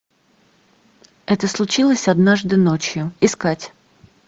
это случилось однажды ночью искать